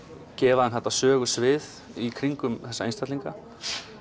gefa þeim þetta sögusvið í kringum þessa einstaklinga